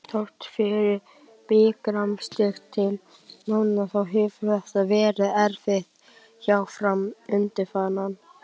Þrátt fyrir bikarmeistaratitil núna þá hefur þetta verið erfitt hjá Fram undanfarin ár.